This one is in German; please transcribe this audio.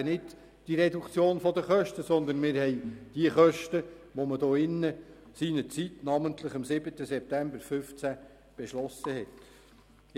Dann haben wir eben nicht diese Reduktion der Kosten, sondern wir haben die Kosten, die wir in diesem Saal am 7. Dezember 2015 beschlossen hatten.